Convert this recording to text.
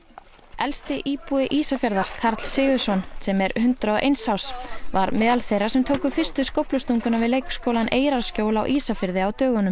elsti íbúi Ísafjarðar Karl Sigurðsson sem er hundrað og eins árs var meðal þeirra sem tók fyrstu skóflustunguna við leikskólann Eyrarskjól á Ísafirði á dögunum